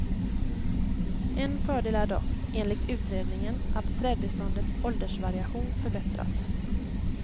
En fördel är dock, enligt utredningen, att trädbeståndets åldersvariation förbättras.